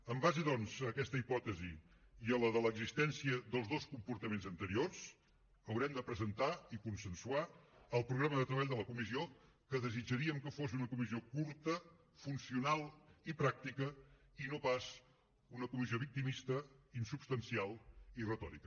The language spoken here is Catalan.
en base doncs a aquesta hipòtesi i a la de l’existència dels dos comportaments anteriors haurem de presentar i consensuar el programa de treball de la comissió que desitjaríem que fos una comissió curta funcional i pràctica i no pas una comissió victimista insubstancial i retòrica